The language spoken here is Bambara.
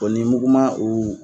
O ni muguman u